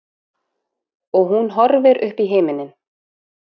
Og hún horfir uppí himininn.